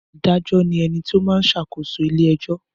Adájọ́ ni ẹni tó máa n ṣàkóso ilé ẹjọ́